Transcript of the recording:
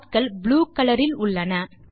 dotகள் blue colour இல் உள்ளன